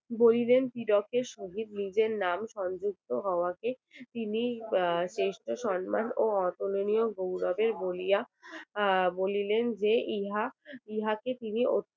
বলিলেন হীরকের সহিত নিজের নাম সংযুক্ত হওয়াকে তিনি চেষ্টা সম্মান ও অতুলনীয় গৌরবের বলিয়া বলিলেন যে ইহা ইহাকে তিনি